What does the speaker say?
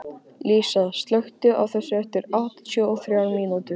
Lísa, slökktu á þessu eftir áttatíu og þrjár mínútur.